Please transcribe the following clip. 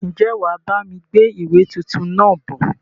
Ń jẹ́ wá bami gbé ìwé tuntun náà bọ̀?